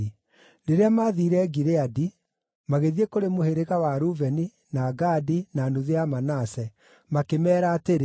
Rĩrĩa maathiire Gileadi, magĩthiĩ kũrĩ mũhĩrĩga wa Rubeni, na Gadi, na nuthu ya Manase, makĩmeera atĩrĩ,